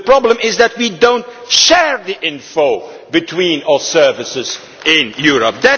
the problem is that we do not share the info between our services in Europe.